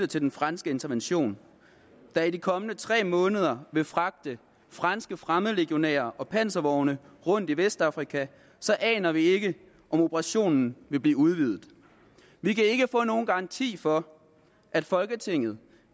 til den franske intervention der i de kommende tre måneder vil fragte franske fremmedlegionærer og panservogne rundt i vestafrika aner vi ikke om operationen vil blive udvidet vi kan ikke få nogen garanti for at folketinget